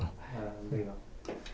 Ah, legal.